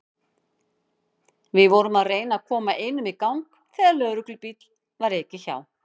Við vorum að reyna að koma einum í gang þegar lögreglubíl var ekið hjá.